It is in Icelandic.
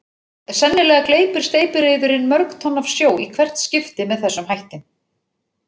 Sennilega gleypir steypireyðurin mörg tonn af sjó í hvert skipti með þessum hætti.